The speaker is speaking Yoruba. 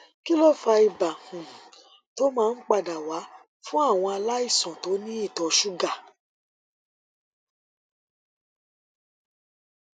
kí ló fa ibà um tó máa ń padà wá fúnàwọn aláìsàn tó ní ìtọ ṣúgà